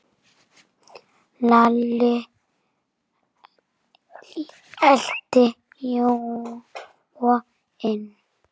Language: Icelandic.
Svo var byrjað að leggja.